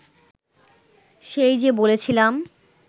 সেই যে বলেছিলাম